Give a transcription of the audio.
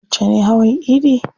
Yauce ne hawan idi?